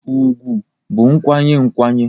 ùgwù bụ nkwanye nkwanye